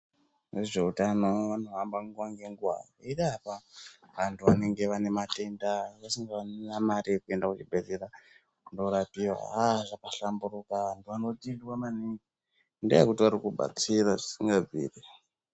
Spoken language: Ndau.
Vezveutano vanohamba nguwa ngenguwa veirapa vanthu vanenge vane matenda vasina mare yekuenda kuzvibhedhlera kundorapiwa. Aah zvakahlamburuka vanotendwa maningi ngendaa yekuti vari kubatsira zvisingabviri.